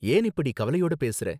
ஏன் இப்படி கவலையோட பேசறே?